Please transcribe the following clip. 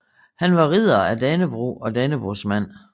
Han var Ridder af Dannebrog og Dannebrogsmand